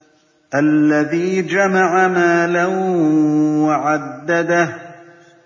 الَّذِي جَمَعَ مَالًا وَعَدَّدَهُ